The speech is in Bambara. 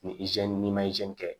Ni n'i ma kɛ